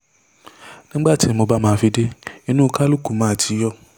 nígbà tí mo bá máa fi dé inú kálukú máa ti yọ